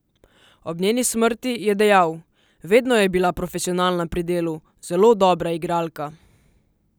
Ob njeni smrti je dejal: ''Vedno je bila profesionalna pri delu, zelo dobra igralka.